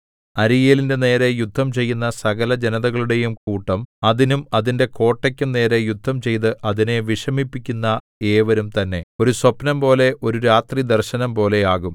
അരീയേലിന്റെ നേരെ യുദ്ധം ചെയ്യുന്ന സകലജനതകളുടെയും കൂട്ടം അതിനും അതിന്റെ കോട്ടയ്ക്കും നേരെ യുദ്ധംചെയ്തു അതിനെ വിഷമിപ്പിക്കുന്ന ഏവരും തന്നെ ഒരു സ്വപ്നംപോലെ ഒരു രാത്രിദർശനംപോലെ ആകും